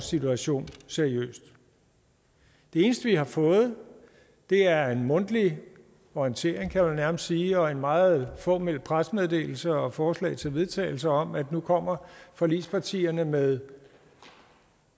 situation seriøst det eneste vi har fået er en mundtlig orientering kan man vel nærmest sige og en meget fåmælt pressemeddelelse og et forslag til vedtagelse om at nu kommer forligspartierne med